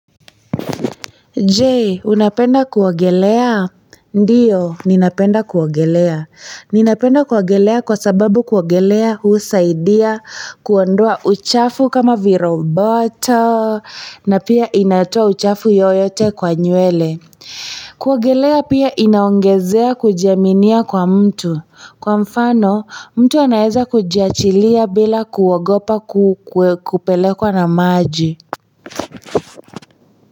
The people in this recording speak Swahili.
Je unapenda kuogelea ndio ninapenda kuogelea ninapenda kuogelea kwa sababu kuogelea husaidia kuondoa uchafu kama viroboto na pia inatoa uchafu yoyote kwa nywele kuogelea pia inaongezea kujiaminia kwa mtu kwa mfano mtu anaweza kujiachilia bila kuogopa kupelekwa na maji.